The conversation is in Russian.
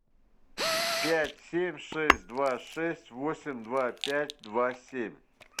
пять семь шесть два шесть восемь два пять два семь